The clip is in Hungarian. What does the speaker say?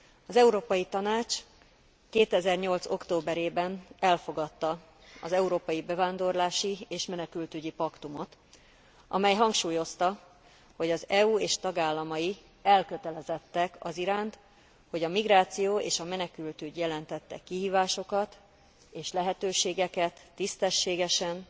Az Európai Tanács 2008 októberében elfogadta az Európai Bevándorlási és Menekültügyi Paktumot, amely hangsúlyozta, hogy az EU és tagállamai elkötelezettek aziránt, hogy a migráció és a menekültügy jelentette kihívásokat és lehetőségeket tisztességesen,